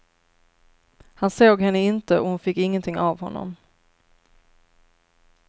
Han såg henne inte, och hon fick ingenting av honom.